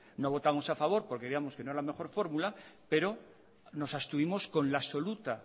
no votamos a favor porque creíamos que no es la mejor fórmula pero nos abstuvimos con la absoluta